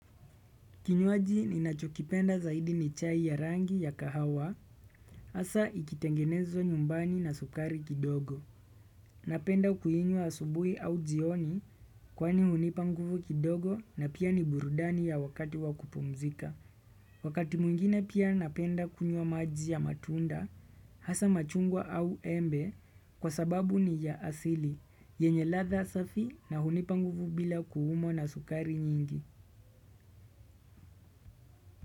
Kinywaji ninachokipenda zaidi ni chai ya rangi ya kahawa, hasa ikitengenezwa nyumbani na sukari kidogo. Napenda kuinywa asubui au jioni kwani hunipa nguvu kidogo na pia ni burudani ya wakati wa kupumzika. Wakati mwingine pia napenda kunywa maji ya matunda, hasa machungwa au embe kwa sababu ni ya asili, yenye ladha safi na hunipa nguvu bila kuumwa na sukari nyingi.